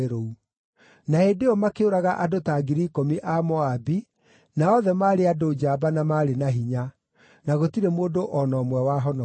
Na hĩndĩ ĩyo makĩũraga andũ ta 10,000 a Moabi, na othe maarĩ andũ njamba na maarĩ na hinya; na gũtirĩ mũndũ o na ũmwe wahonokire.